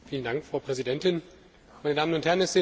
Frau Präsidentin, meine Damen und Herren!